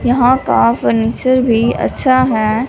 यहां का फर्नीचर भी अच्छा है।